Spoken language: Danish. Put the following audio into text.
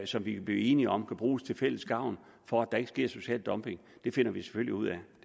som vi kan blive enige om at bruge til fælles gavn for at der ikke sker social dumping finder vi selvfølgelig ud